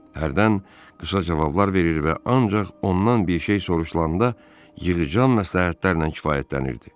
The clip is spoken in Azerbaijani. Hərdən qısa cavablar verir və ancaq ondan bir şey soruşulanda yığcam məsləhətlərlə kifayətlənirdi.